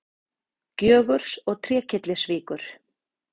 Gjögurs og Trékyllisvíkur.